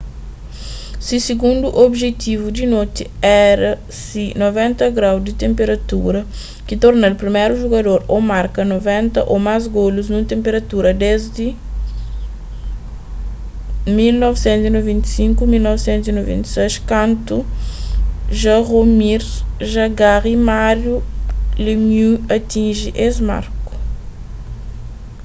se sigundu obijetivu di noti éra se 60º di tenpurada ki torna-l priméru jugador a marka 60 ô más golus nun tenpurada desdi 1995--96 kantu jaromir jagr y mario lemieux atinji es marku